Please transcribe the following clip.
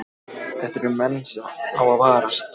Þetta eru menn sem á að varast